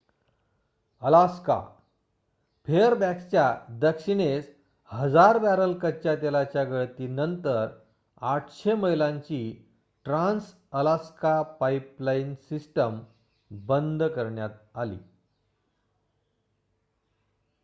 Alaska फेअरबॅक्सच्या दक्षिणेस हजार बॅरल कच्च्या तेलाच्या गळतीनंतर ८०० मैलांची ट्रान्स-अलास्का पाइपलाइन सिस्टम बंद करण्यात आली